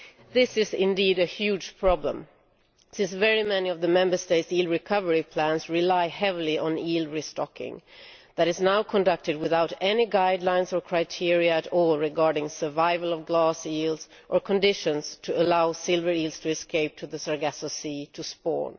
This is indeed a huge problem since many of the Member States' eel recovery plans rely heavy on eel restocking that is now conducted without any guidelines or criteria at all regarding survival of glass eels, or conditions to allow silver eels to escape to the Sargasso sea to spawn.